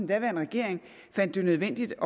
daværende regering fandt det nødvendigt